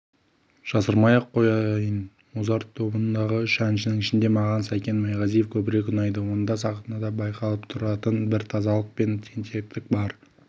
жасырмай-ақ қояйын музарт тобындағы үш әншінің ішінде маған сәкен майғазиев көбірек ұнайды онда сахнада байқалып тұратын бір тазалық пен тентектік бар